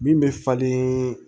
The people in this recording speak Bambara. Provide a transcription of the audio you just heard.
Min bɛ falen